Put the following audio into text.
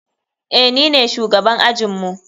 Eh, nine shugaban ajinmu.